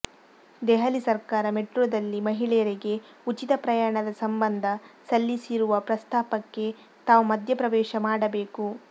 ದೆಹಲಿ ಸರ್ಕಾರ ಮೆಟ್ರೋದಲ್ಲಿ ಮಹಿಳೆಯರಿಗೆ ಉಚಿತ ಪ್ರಯಾಣದ ಸಂಬಂಧ ಸಲ್ಲಿಸಿರುವ ಪ್ರಸ್ತಾಪಕ್ಕೆ ತಾವು ಮಧ್ಯ ಪ್ರವೇಶ ಮಾಡಬೇಕು